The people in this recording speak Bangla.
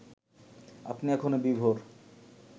আপনি এখনো বিভোর